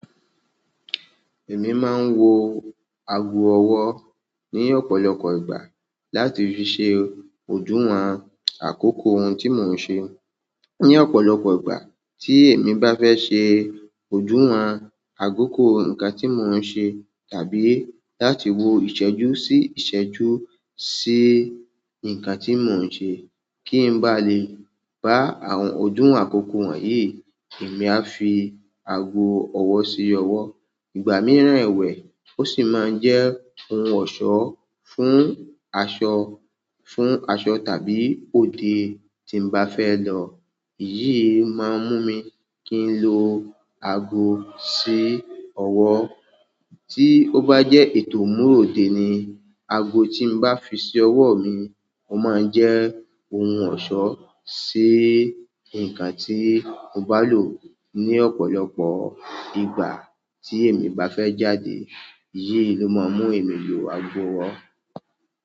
Èmi máa ń wọ ago ọwọ́ ní ọ̀pọ̀lọpọ̀ ìgbà láti fi ṣe oduwọn àkókò ohun tí mò ń ṣe. Ní ọ̀pọ̀lọpọ̀ ìgbà tí èmi bá fẹ́ ṣe ojúwọn àkokò nǹkan tí mò ń ṣe tàbí láti wọ ìṣẹ́jú sí ìṣẹ́jú sí nǹkan tí mò ń ṣe, kí n bá lè ba àwọn ọdúwon àkókò wọ̀nyí, èmi a fi ago ọwọ́ sí ọwọ́. Ìgbà mìíràn ẹ̀wẹ̀, ó sì máa ń jẹ́ ohun ọ̀ṣọ́ fún aṣọ, fún aṣọ tàbí òde tí n bá fẹ́ lọ. Èyí maa n mu mi kin lo ago si owo tí ó bá jẹ́ ètò imúròde ni, ago tí n bá fi sí ọwọ́ mi, ó máa ń jẹ́ ohun ọ̀ṣọ́ sí nǹkan tí n bá lò ní ọ̀pọ̀lọpọ̀ ìgbà tí èmi bá fẹ́ jáde. Èyí ló máa ń mú èmi lo ago ọwọ́.